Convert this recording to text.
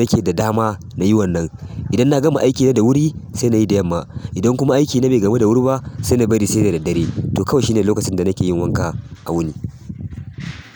nake da dama na yi wannan. Idan na gama aikina da wuri sai na yi da yamma. Idan kuma aiki na bai gamu da wuri ba sai na bari sai da daddare. To kawai shine lokacin da nake yin wanka a wuni.